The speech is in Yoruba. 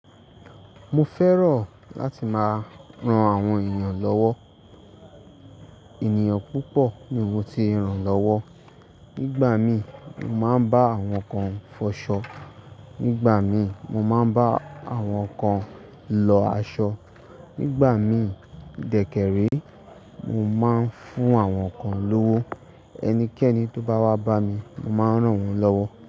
Mo fẹ́ràn láti máa ran àwọn èeyàn lọ́wọ́. Ènìyàn púpọ̀ ni mo ti ràn lọ́wọ́. Nígbà mií mo máa ń bá àwọn kan fọṣọ. Nígbà mí mo máa ń bá àwọn kan lọ aṣọ. Nígbà mí dẹ́kẹ̀ré, mo máa ń fún àwọn kan lówó. Ẹnikẹ́ni tó bá wá bá mi, mo máa n rán wọ́n lọ́wọ́.